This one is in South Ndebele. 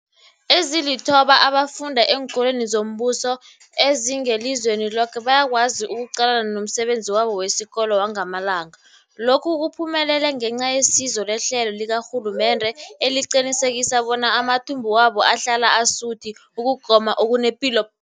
Ezilithoba abafunda eenkolweni zombuso ezingelizweni loke bayakwazi ukuqalana nomsebenzi wabo wesikolo wangamalanga. Lokhu kuphumelele ngenca yesizo lehlelo likarhulumende eliqinisekisa bona amathumbu wabo ahlala asuthi ukugoma okunepilo.